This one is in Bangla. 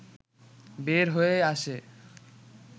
বের হয়ে আসে